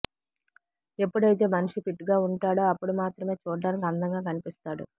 ఎప్పుడైతే మనిషి ఫిట్ గా ఉంటాడో అప్పుడు మాత్రమే చూడడానికి అందంగా కనిపిస్తాడు